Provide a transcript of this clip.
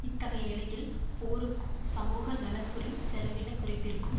இத்தகைய நிலையில் போருக்கும் சமூகநலன்புரி செலவின குறைப்பிற்கும்